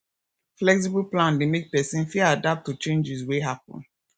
flexible plan dey make person fit adapt to changes wey happen